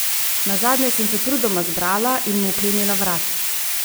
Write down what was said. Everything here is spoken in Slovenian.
Nazadnje sem se trudoma zbrala in mu vklenila vrat.